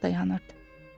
Ocaq dayanırdı.